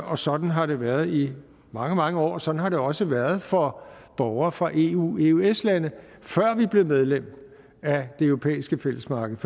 og sådan har det været i mange mange år sådan har det også været for borgere fra eu eu eøs landene før vi blev medlem af det europæiske fællesmarked